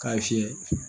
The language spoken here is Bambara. K'a fiyɛ